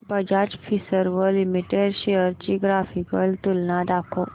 Bajaj Finserv limited shares ची graphical तुलना दाखव